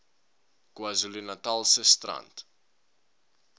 kwazulu natalse strand